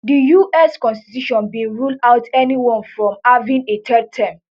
di us constitution bin rule out anyone from having a third term